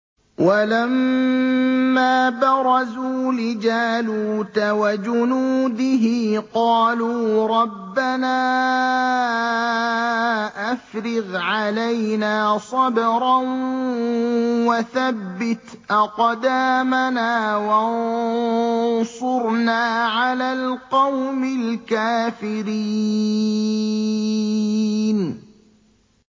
وَلَمَّا بَرَزُوا لِجَالُوتَ وَجُنُودِهِ قَالُوا رَبَّنَا أَفْرِغْ عَلَيْنَا صَبْرًا وَثَبِّتْ أَقْدَامَنَا وَانصُرْنَا عَلَى الْقَوْمِ الْكَافِرِينَ